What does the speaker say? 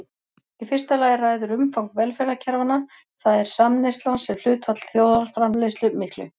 Í fyrsta lagi ræður umfang velferðarkerfanna, það er samneyslan sem hlutfall þjóðarframleiðslu miklu.